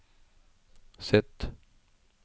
Z